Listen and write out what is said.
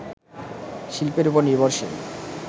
শিল্পের ওপর নির্ভরশীল